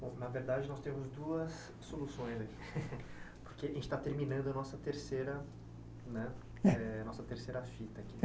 Bom, na verdade, nós temos duas soluções aqui, porque a gente está terminando a nossa terceira né eh nossa fita aqui.